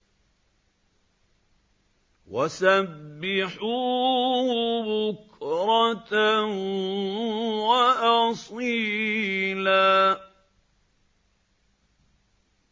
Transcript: وَسَبِّحُوهُ بُكْرَةً وَأَصِيلًا